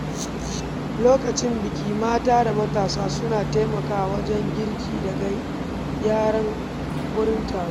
Lokacin biki, mata da matasa suna taimakawa wajen girki da gyaran wurin taro.